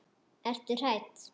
Ertu hrædd?